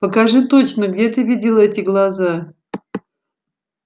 покажи точно где ты видела эти глаза